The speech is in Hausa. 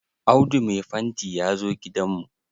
Audu mai fanti ya zo gidan mu.